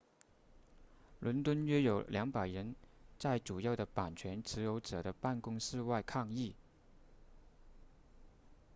伦敦约有200人在主要的版权持有者的办公室外抗议